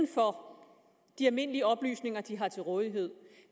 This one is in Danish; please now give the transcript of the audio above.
for de almindelige oplysninger de har til rådighed